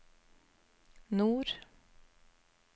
nord